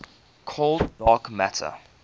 cold dark matter